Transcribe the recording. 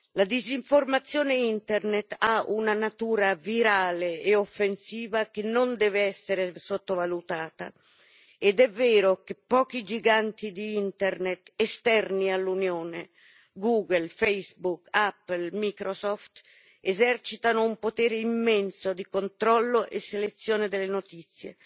La disinformazione Internet ha una natura virale e offensiva che non deve essere sottovalutata ed è vero che pochi giganti di Internet, esterni all'Unione Google, Facebook, Apple, Microsoft esercitano un potere immenso, di controllo e selezione delle notizie,